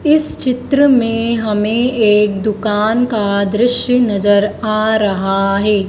इस चित्र में हमें एक दुकान का दृश्य नजर आ रहा है।